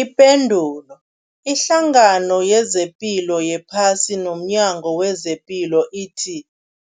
Ipendulo, iHlangano yezePilo yePhasi nomNyango wezePilo ithi